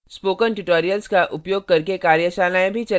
spoken tutorials का उपयोग करके कार्यशालाएँ भी चलाती है